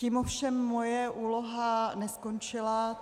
Tím ovšem moje úloha neskončila.